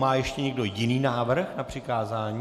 Má ještě někdo jiný návrh na přikázání?